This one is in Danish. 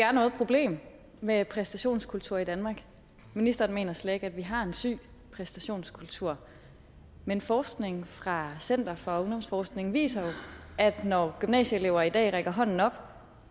er noget problem med præstationskultur i danmark ministeren mener slet ikke at vi har en syg præstationskultur men forskning fra center for ungdomsforskning viser jo at når gymnasieelever i dag rækker hånden op